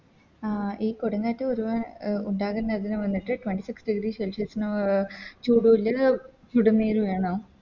ആ ഈ കൊടുംകാറ്റ് ഒരുപാ ഉണ്ടാകുന്നത് വന്നിട്ട് Twenty six degree celsius ചൂട് കൊണ്ട് ചുടുനിയിൽ വേണോ